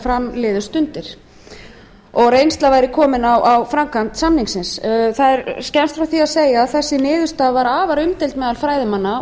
fram liðu stundir og reynsla væri komin á framkvæmd samningsins það er skemmst frá því að segja að þessi niðurstaða var afar umdeild meðal fræðimanna